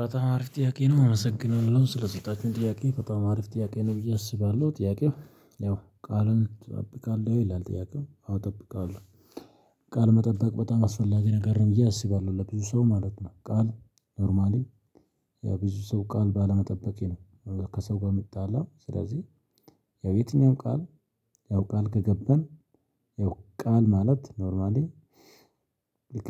በጣም አሪፍ ጥያቄ ነው አመሰግናለው ስለሰጣችሁኝ ጥያቄ በጣም አሪፍ ጥያቄ ነው ብዬ አስባለሁ ጥያቄው ያው ቃልን ትጠብቃለህ ይላል ጥያቄው አዎ ጠብቃለሁ። ቃል መጠበቅ በጣም አስፈላጊ ነገር ነው ብዬ አስባለሁ ለብዙ ሰው ማለት ነው። ቃል ኖርማሊ ያው ብዙ ሰው ቃል ባለመጠበቅ ነው ከሰው ጋር የሚጣላው ስለዚህ። ያው የትኛውም ቃል ያው ቃል ከገባን ያው ቃል ማለት ኖርማሊ።